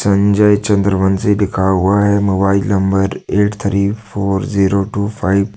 संजय चन्द्रबंशी लिखा हुआ है mobile number eight three four zero two five --